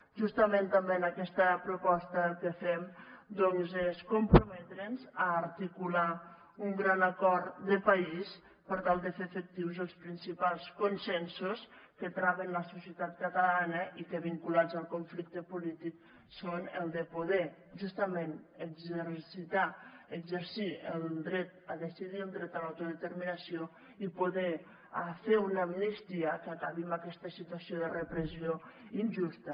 justament també en aquesta proposta el que fem doncs és comprometre’ns a articular un gran acord de país per tal de fer efectius els principals consensos que traven la societat catalana i que vinculats al conflicte polític són el de poder justament exercir el dret a decidir el dret a l’autodeterminació i poder fer una amnistia que acabi amb aquesta situació de repressió injusta